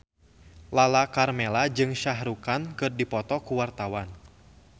Lala Karmela jeung Shah Rukh Khan keur dipoto ku wartawan